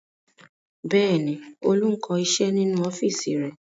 Bẹ́ẹ̀ ni, Olú ń kọ iṣẹ́ nínú ọ́fíísì rẹ̀.